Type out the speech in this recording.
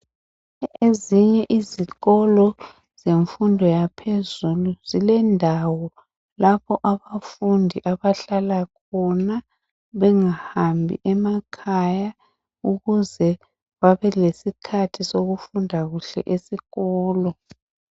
Ezinye izikolo zemfundo yaphezulu zilendawo lapho abafundi abahlala khona bengahambt emakhaya. Ukuze babelesikhathi sokufunda kuhle esikolo.